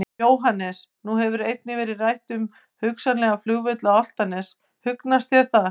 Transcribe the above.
Jóhannes: Nú hefur einnig verið rætt um hugsanlegan flugvöll á Álftanes, hugnast það þér?